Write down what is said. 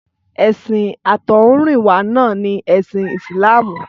Ẹ̀sìn àtọ̀húnrìnwá náà ni ẹ̀sìn Ìsìlámù.